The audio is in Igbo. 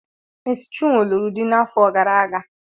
Mési chinwo lụrụ di n'afọ gara aga